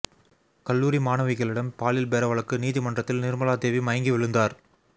கல்லூரி மாணவிகளிடம் பாலியல் பேர வழக்கு நீதிமன்றத்தில் நிா்மலா தேவி மயங்கி விழுந்தாா்